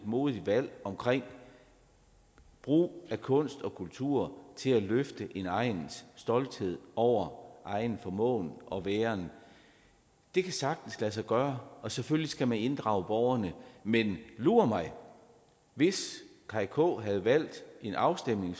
modigt valg omkring brugen af kunst og kultur til at løfte en egns stolthed over egen formåen og væren det kan sagtens lade sig gøre og selvfølgelig skal man inddrage borgerne men lur mig hvis kaj k nielsen havde valgt en afstemning